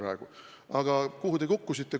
Ja kuhu te kukkusite?